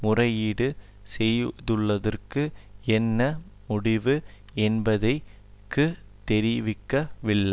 முறையீடு செய்துள்ளதற்கு என்ன முடிவு என்பதை க்குத் தெரிவிக்கவில்லை